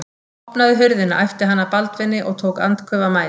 Opnaðu hurðina, æpti hann að Baldvini og tók andköf af mæði.